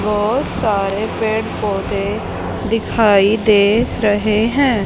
बहोत सारे पेड़ पौधे दिखाई दे रहें हैं।